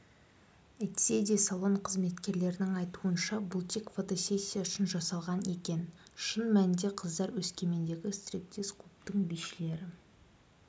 әйтседе салон қызметкерлерінің айтуынша бұл тек фотосессия үшін жасалған екен шын мәнінде қыздар өскемендегі стриптиз-клубтың бишілері